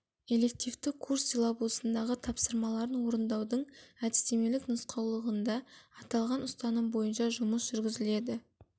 элективті курс силлабусындағы тапсырмаларын орындаудың әдістемелік нұсқаулығында аталған ұстаным бойынша жұмыс жүргізіледі